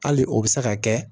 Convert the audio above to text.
Hali o bɛ se ka kɛ